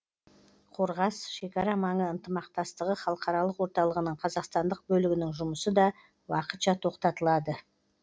қорғас шекара маңы ынтымақтастығы халықаралық орталығының қазақстандық бөлігінің жұмысы да уақытша тоқтатылады